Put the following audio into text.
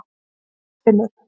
Guðfinnur